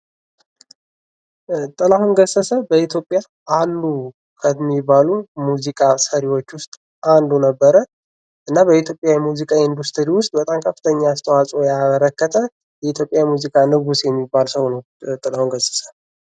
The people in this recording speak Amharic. ጥላሁን ገሰሰ በኢትዮጵያ አሉ ከሚባሉ ሙዚቃ ሰሪወች ውስጥ አንዱ ነበር እና በኢትዮጵያ የሙዚቃ ኢንዱስትሪ ውስጥ በጣም ከፍተኛ አስተዋጽኦ ያበረከተ የኢትዮጵያ የሙዚቃ ንጉስ የሚባል ሰው ነው ጥላሁን ገሰሰ።